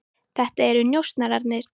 Þetta eru njósnararnir.